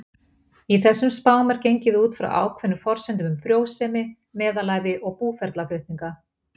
Í þessum spám er gengið út frá ákveðnum forsendum um frjósemi, meðalævi og búferlaflutninga.